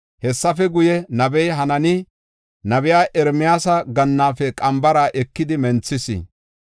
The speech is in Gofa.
Hessafe guye, nabey Hanaani, nabiya Ermiyaasa gannaafe qambara ekidi menthis.